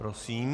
Prosím.